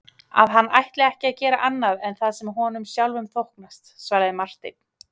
Að hann ætlar ekki að gera annað en það sem honum sjálfum þóknast, svaraði Marteinn.